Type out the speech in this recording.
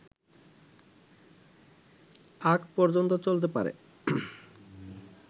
আগ পর্যন্ত চলতে পারে